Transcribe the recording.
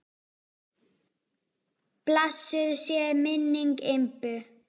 Blessuð sé minning Imbu.